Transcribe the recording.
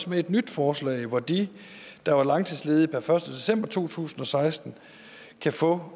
med et nyt forslag hvor de der var langtidsledige per første december to tusind og seksten kan få